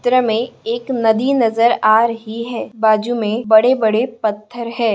चित्र मे एक नदी नजर आ रही है बाजु मे बड़े बड़े पत्थर है।